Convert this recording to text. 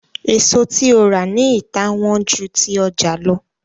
èso tí o rà ní ita wón jù ti ọja ló